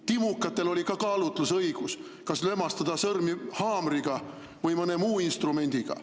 Timukatel oli ka kaalutlusõigus, kas lömastada sõrmi haamriga või mõne muu instrumendiga.